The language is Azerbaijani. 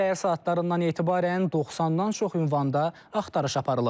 Səhər saatlarından etibarən 90-dan çox ünvanda axtarış aparılıb.